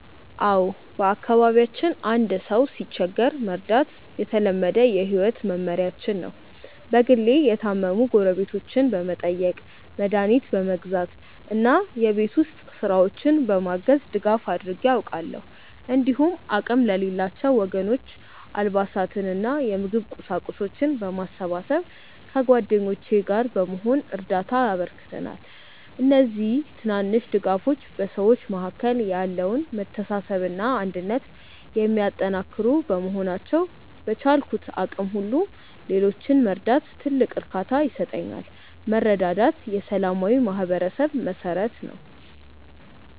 አዎ፣ በአካባቢያችን አንድ ሰው ሲቸገር መርዳት የተለመደ የህይወት መመሪያችን ነው። በግሌ የታመሙ ጎረቤቶችን በመጠየቅ፣ መድኃኒት በመግዛት እና የቤት ውስጥ ስራዎችን በማገዝ ድጋፍ አድርጌ አውቃለሁ። እንዲሁም አቅም ለሌላቸው ወገኖች አልባሳትንና የምግብ ቁሳቁሶችን በማሰባሰብ ከጓደኞቼ ጋር በመሆን እርዳታ አበርክተናል። እነዚህ ትናንሽ ድጋፎች በሰዎች መካከል ያለውን መተሳሰብና አንድነት የሚያጠናክሩ በመሆናቸው፣ በቻልኩት አቅም ሁሉ ሌሎችን መርዳት ትልቅ እርካታ ይሰጠኛል። መረዳዳት የሰላማዊ ማህበረሰብ መሠረት ነው።